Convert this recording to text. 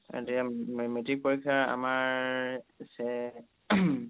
এতিয়া metric পৰীক্ষা আমাৰ